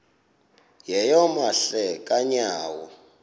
yeyom hle kanyawo